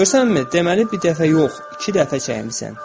Görürsənmi, deməli bir dəfə yox, iki dəfə çəkmisən.